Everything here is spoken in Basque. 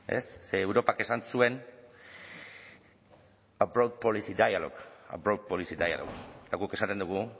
ze europak esan zuen a broad policy dialogue a broad policy dialogue eta guk esaten dugu